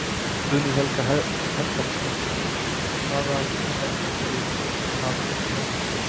Guðný Helga Herbertsdóttir: Hvaðan sækið þið það fjármagn?